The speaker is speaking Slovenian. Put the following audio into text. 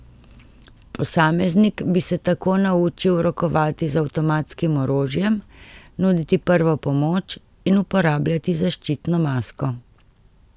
Posameznik bi se tako naučil rokovati z avtomatskim orožjem, nuditi prvo pomoč in uporabljati zaščitno masko.